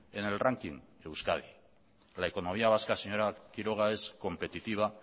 en el ranking euskadi la economía vasca señora quiroga es competitiva